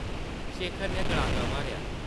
शेखर नै गड़ाका मारेआ ।